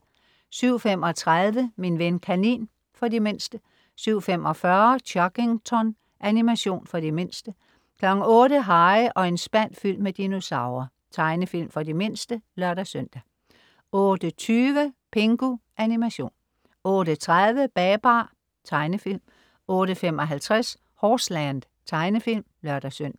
07.35 Min ven kanin. For de mindste 07.45 Chuggington. Animation for de mindste 08.00 Harry og en spand fyldt med dinosaurer. Tegnefilm for de mindste (lør-søn) 08.20 Pingu. Animation 08.30 Babar. Tegnefilm 08.55 Horseland. Tegnefilm (lør-søn)